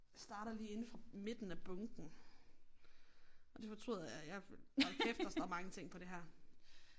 Starter lige inde fra midten af bunken og det fortryder jeg jeg hold kæft der står mange ting på det her